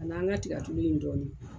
A n'an ka tigɛ tulu in dɔɔnin.